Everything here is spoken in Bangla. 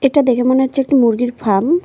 এটা দেখে মনে হচ্ছে একটি মুরগির ফার্ম ।